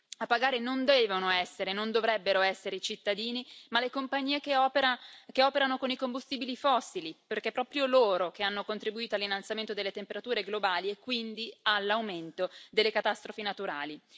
A pagare non devono essere e non dovrebbero essere i cittadini ma le compagnie che operano con i combustibili fossili, perché sono proprio loro ad aver contribuito all'innalzamento delle temperature globali e quindi all'aumento delle catastrofi naturali.